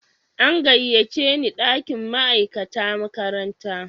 An gayyace ni dakin ma'aikata makaranta.